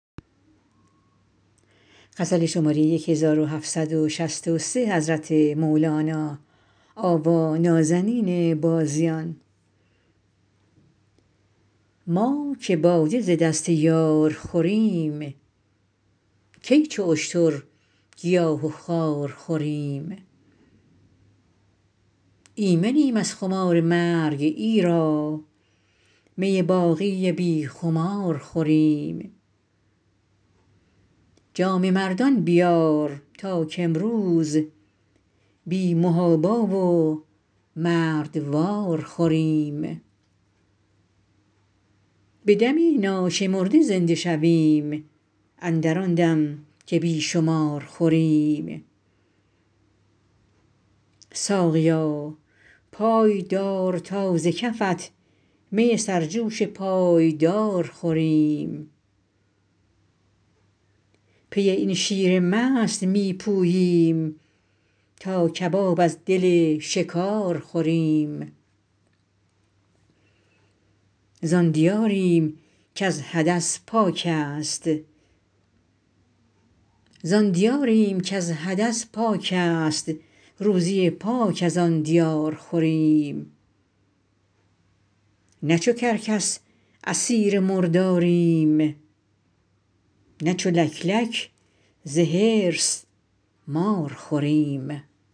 ما که باده ز دست یار خوریم کی چو اشتر گیاه و خار خوریم ایمنیم از خمار مرگ ایرا می باقی بی خمار خوریم جام مردان بیار تا کامروز بی محابا و مردوار خوریم به دم ناشمرده زنده شویم اندر آن دم که بی شمار خوریم ساقیا پای دار تا ز کفت می سرجوش پایدار خوریم پی این شیر مست می پوییم تا کباب از دل شکار خوریم زان دیاریم کز حدث پاک است روزی پاک از آن دیار خوریم نه چو کرکس اسیر مرداریم نه چو لک لک ز حرص مار خوریم